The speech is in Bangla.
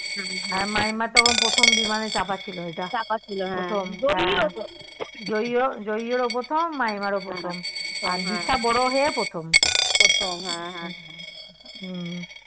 হ্যাঁ মাইমার তখন প্রথম বিমানে চাপা ছিল ইটা জই এরও প্রথম মাইমার ও প্রথম আর দিশা বড়ো হয়ে প্রথম হম